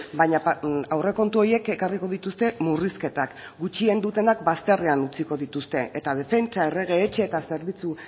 baina aurrekontu horiek ekarriko dituzte murrizketak gutxien dutenak bazterrean utziko dituzte eta defentsa errege etxe eta zerbitzu